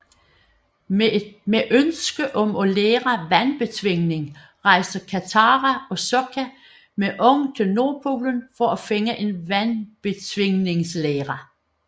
Med ønske om at lære vandbetvingning rejser Katara og Sokka med Aang til Nordpolen for at finde en Vandbetvingningslære